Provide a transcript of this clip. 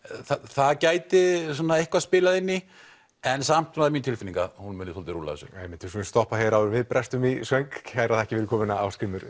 það gæti eitthvað spilað inn í en samt mín tilfinning að hún muni rúlla þessu upp við skulum stoppa hér áður en við brestum í söng kærar þakkir fyrir komuna Ásgrímur